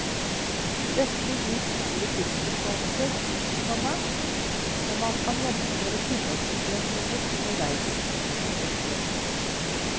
Dette gir store tidsbesparelser, komma og man kan gjennomføre tilleggsoperasjoner underveis. punktum